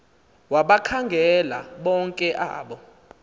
wabakhangela bonke abo